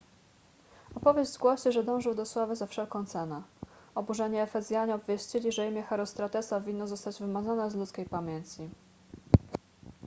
opowieść głosi że dążył do sławy za wszelką cenę oburzeni efezjanie obwieścili że imię herostratesa winno zostać wymazane z ludzkiej pamięci